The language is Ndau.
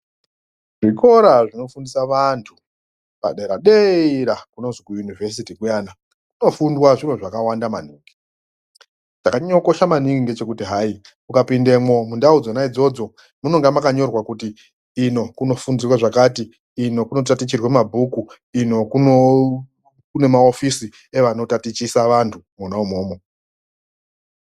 Zvikoro zvinofundisa vantu , paderadera kunozi kuyunivhesiti kuyana kunofundwa zviro zvakawanda maningi chakanyanya kukosha maningi ndechekuti hai ukapindemwo mundau dzona idzodzo munenge makanyorwa kuti ino kunofundirwa zvakati, ino kunotatichirwa mabhuku ino kuno kune maofisi anotatichisa vantu mwono umomo.